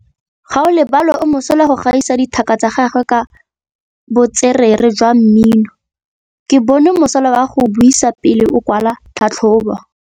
Gaolebalwe o mosola go gaisa dithaka tsa gagwe ka botswerere jwa mmino. Ke bone mosola wa go buisa pele o kwala tlhatlhobô.